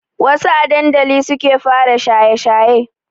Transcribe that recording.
Wassu a dandali suke fara shaye shaye